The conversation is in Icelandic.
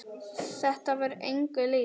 Þetta var engu líkt.